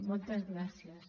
moltes gràcies